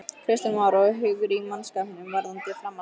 Kristján Már: Og hugur í mannskapnum varðandi framhaldið?